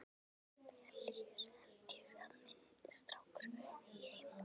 Vel, hér held ég að minn strákur eigi heima.